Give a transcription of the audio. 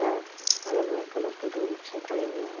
याअलग-अलग colour के दो रिक्शे खड़े हुए हैं।